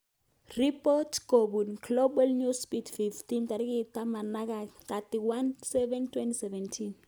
Ripot kopun Global Newsbeat 1500 31/07/2017